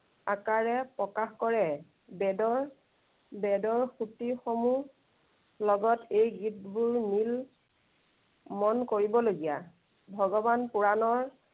আকাৰে প্ৰকাশ কৰে। বেদৰ, বেদৰ স্তুতিসমূহ, লগত এই গীতবোৰ মিল মন কৰিবলগীয়া।